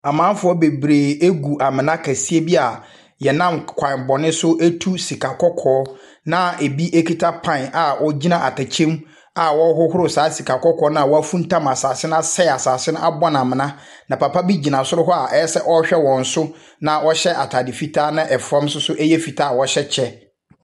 Amanfoɔ bebree gu amena kɛseɛ bi a wɔnam k kwan bɔne so tu sika kɔkɔɔ, na ebi kita pan a wogyina atɛkyɛm a wɔrehohoro saa sika kɔkɔɔ no a wɔafuntam asase no asɛe asase no abɔ no amena, na papa bi gyina soro hɔ a ayɛ sɛ ɔrehwɛ wɔn so, na ɔhyɛ atade fitaa na fam nso so yɛ fitaa a ɔhyɛ kyɛ.